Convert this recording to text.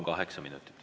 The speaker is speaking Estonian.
Kaheksa minutit.